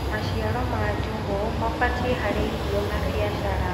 maciaro ma njugu mabatie harĩ irio na biashara